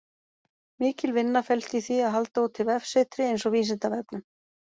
Mikil vinna felst í því að halda úti vefsetri eins og Vísindavefnum.